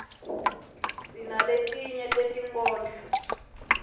sinaletinye tetinkhondlo